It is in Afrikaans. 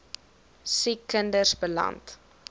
siek kinders beland